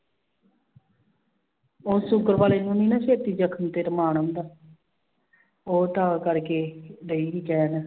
ਉਹ ਸੂਗਰ ਵਾਲੇ ਨੂੰ ਨੀ ਨਾ ਛੇਤੀ ਜਖਮ ਫਿਰ ਮਾਣ ਆਉਂਦਾ ਉਹ ਤਾਂ ਕਰਕੇ ਰਹੀ ਸੀ ਕਹਿਣ